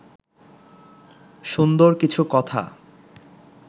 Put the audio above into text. সুন্দর কিছু কথা